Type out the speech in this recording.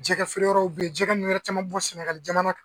Jɛgɛfeere yɔrɔw be yen jɛgɛ nunnu yɛrɛ caman min bɔ sɛnɛgali jamana kan